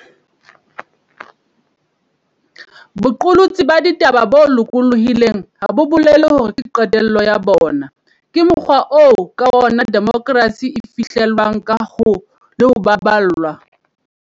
Boqolotsi ba ditaba bo loko llohileng ha bo bolele hore ke qetello ya bona. Ke mokgwa oo ka ona demokrasi e fihle llwang le ho baballwa.